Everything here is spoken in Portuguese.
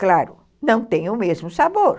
Claro, não tem o mesmo sabor.